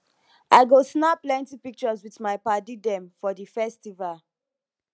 i go snap plenty pictures wit my paddy dem for di festival